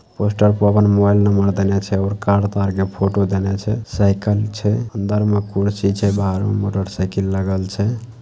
Poster पर अपना mobile number देएना छै और कार तार के फोटो देने छै साइकल छै अंदर में कुर्सी से बाहर में मोटरसाइकिल लागल छै।